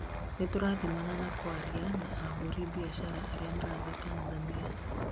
nĩturathimana na kwaria na ahũri biashara aria marathiĩ Tanzania